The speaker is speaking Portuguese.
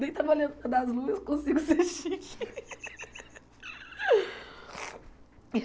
Nem trabalhando na Daslu eu consigo ser chique.